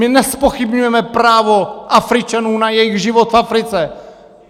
My nezpochybňujeme právo Afričanů na jejich život v Africe.